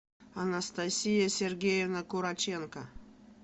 анастасия сергеевна кураченко